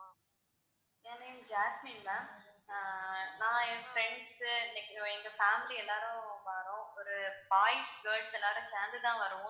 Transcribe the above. என் name Jasmine ma'am ah நான் என் friends like எங்க family எல்லோரும் வாரோம். ஒரு boys, girls எல்லோரும் சேர்ந்து தான் வர்றோம்.